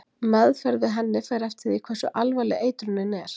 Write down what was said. Meðferð við henni fer eftir því hversu alvarleg eitrunin er.